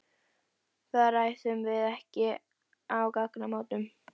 Það ræðum við ekki á gatnamótum.